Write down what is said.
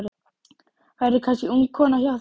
Verður kannski ung kona hjá þeim.